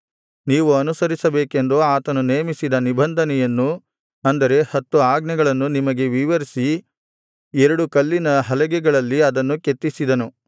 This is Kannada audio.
ನೀವು ಅನುಸರಿಸಬೇಕೆಂದು ಆತನು ನೇಮಿಸಿದ ನಿಬಂಧನೆಯನ್ನು ಅಂದರೆ ಹತ್ತು ಆಜ್ಞೆಗಳನ್ನು ನಿಮಗೆ ವಿವರಿಸಿ ಎರಡು ಕಲ್ಲಿನ ಹಲಗೆಗಳಲ್ಲಿ ಅದನ್ನು ಕೆತ್ತಿಸಿದನು